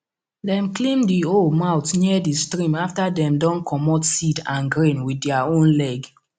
dem clean the hoe mouth near the stream after dem don comot seed and grain with their own leg